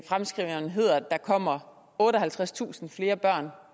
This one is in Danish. der kommer otteoghalvtredstusind flere børn